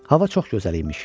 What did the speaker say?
Hava çox gözəl imiş.